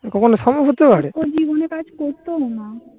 কখনো সম্ভব হতে পারে? মানে কাজ তো না